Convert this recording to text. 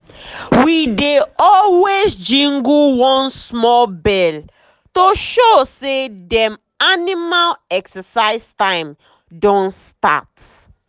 we dey always jingle one small bell to show say dem animal exercise time don start.